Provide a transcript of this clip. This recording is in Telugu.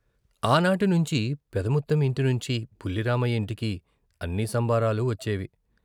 ఆనాటి నుంచీ పెదముత్తెం ఇంటి నుంచి బుల్లిరామయ్య ఇంటికి అన్ని సంబారాలు వచ్చేవి.